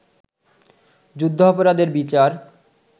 যুদ্ধাপরাধের বিচার